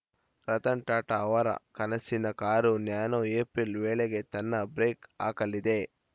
ರತನ್‌ ಟಾಟಾ ಅವರ ಕನಸಿನ car Nano April ವೇಳೆಗೆ ತನ್ನ ಬ್ರೇಕ್‌ ಹಾಕಲಿದೆ